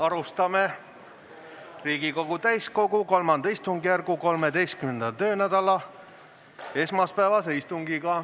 Alustame Riigikogu täiskogu III istungjärgu 13. töönädala esmaspäevast istungit.